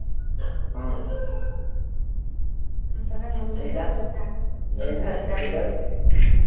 ৰ ভাল ফুৰি থাক